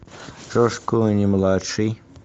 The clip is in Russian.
джордж клуни младший